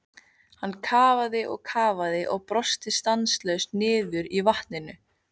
Hann kafaði og kafaði og brosti stanslaust niðri í vatninu.